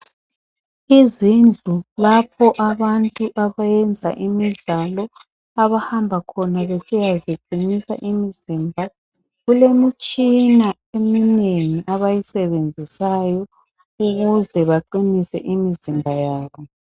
Izindlu lapho abantu abayenza imidlalo abantu abahamba khona besiya ziqinisa imizimba, kulomtshina eminengi abayisebenzisayo ukuze baqinise imizimba yabo.